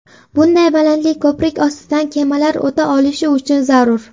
Bunday balandlik ko‘prik ostidan kemalar o‘ta olishi uchun zarur.